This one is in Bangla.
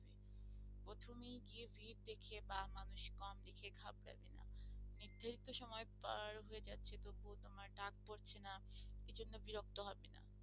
প্রথমেই গিয়ে ভিড় দেখে বা মানুষ কম দেখে ঘাবড়াবেন না নির্ধারিত সময় পার হয়ে যাচ্ছে তবুও তোমার ডাক পড়ছে না এজন্য বিরক্ত হবে না।